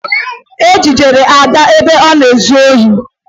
E jidere Ada ebe ọ na-ezu ohi